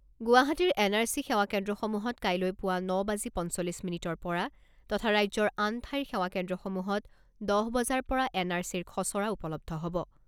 গুৱাহাটীৰ N R C সেৱা কেন্দ্ৰসমূহত কাইলৈ পুৱা ন বাজি পঞ্চল্লিছ মিনিটৰ পৰা তথা ৰাজ্যৰ আন ঠাইৰ সেৱা কেন্দ্ৰসমূহত দহ বজাৰ পৰা এন আৰ চিৰ খছৰা উপলব্ধ হব।